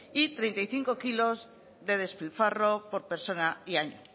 y treinta y cinco kilos de despilfarro por persona y año